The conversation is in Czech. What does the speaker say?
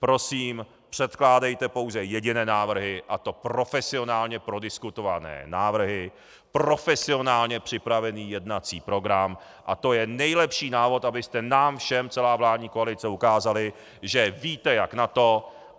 Prosím, předkládejte pouze jediné návrhy, a to profesionálně prodiskutované návrhy, profesionálně připravený jednací program a to je nejlepší návod, abyste nám všem celá vládní kolice ukázali, že víte jak na to.